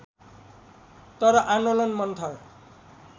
तर आन्दोलन मत्थर